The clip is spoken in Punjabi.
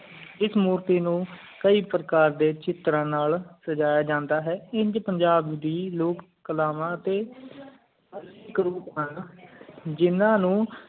ਇਸ ਮੋਕੀ ਨੂੰ ਕਈ ਪ੍ਰਕਾਰ ਡੇ ਚਿਤਰਾਂ ਨਾਲ ਸਜਾਯਾ ਜਾਂਦਾ ਹੈ ਇੰਜ ਪੰਜਾਬ ਦੀ ਲੋਕ ਕਾਲਵਾ ਟੀ ਜਿੰਨਾ ਨੂੰ